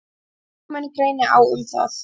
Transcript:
Lögmenn greini á um það.